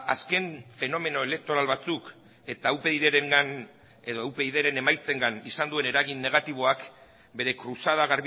azken fenomeno elektoral batzuk eta upydren emaitzengan izan duen eragin negatiboak bere kruzada